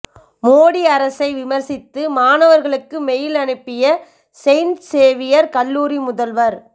மோடி அரசை விமர்சித்து மாணவர்களுக்கு மெயில் அனுப்பிய செயின்ட் சேவியர் கல்லூரி முதல்வர்